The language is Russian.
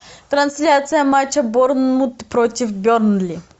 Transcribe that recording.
трансляция матча борнмут против бернли